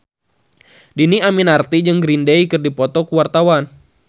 Dhini Aminarti jeung Green Day keur dipoto ku wartawan